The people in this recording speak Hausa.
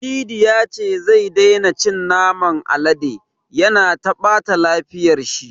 Cidi ya ce zai daina cin naman alade, ya na taɓa lafiyar shi.